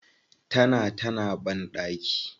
Tana ta na banɗaki.